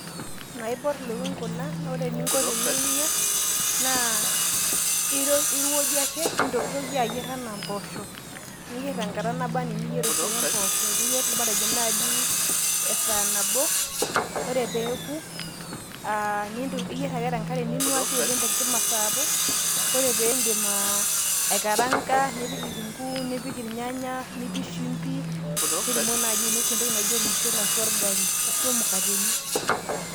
naiborr ilukuny kuna naa ore eninko teninyia naa irowuajie ake nintokitokie ayierr enaa mpooshok niyierr tenkata naba enaa eniyierr oshiake impoosho niyierr matejo naaji esaa nabo ore peeku aa iyierr ake tenkare ninuaki oleng tenkima sapuk ore piindim aikaraanga nipik kitunguu nipik irnyanya nipik shimbi nitumoki naaji ainosie entoki naijo ormushele ashu orgali ashu imukateni.